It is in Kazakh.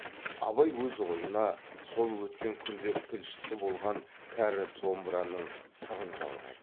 абай өз ойына сол өткен күндер тілшісі болған кәрі домбыраның сырын жалғайды